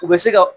U bɛ se ka